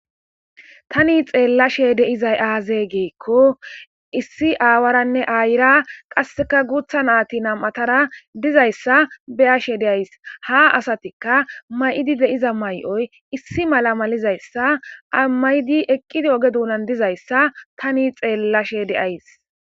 Tani xeellashe deizay aazee geekko issi aawaranne aayira qasseka guutha naati nam'atara dizayssa beashe deays ha asatikka may'idi deiza mayoy issi mala malizayssa amaydi eqqidi oge duunan dizayssa tani xeellashe deays.